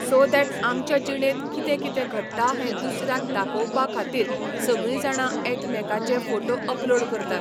so that आमच्या जिणेंत कितें कितें घडटा हें दुसऱ्याक दाखोवपा खातीर सगळीं जाणां एकामेकाचे फोटो अपलोड करतात